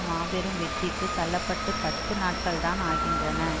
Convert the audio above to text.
மாபெரும் வெற்றிக்கு தள்ள பட்டு பத்து நாட்கள்தான் ஆகின்றன